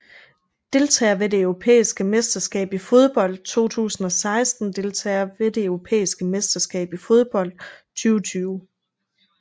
Deltagere ved det europæiske mesterskab i fodbold 2016 Deltagere ved det europæiske mesterskab i fodbold 2020